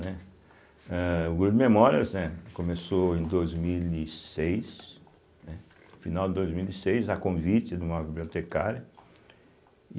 Né, âh, o grupo de memórias, né, começou em dois mil e seis, né, final de dois mil e seis, a convite de uma bibliotecária.